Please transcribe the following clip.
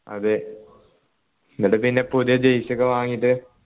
അതെ എന്നിട്ട് പിന്നെ പുതിയ jersey ഒക്കെ വാങ്ങിട്ട്